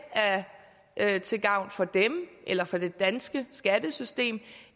er til gavn for dem eller for det danske skattesystem